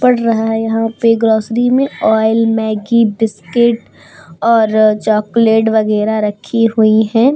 पढ़ रहा है। यहाँ पे ग्रोसरी में ऑइल मैग्गी बिस्कीट और चॉकलेट वगेरा रखी हुई हैं।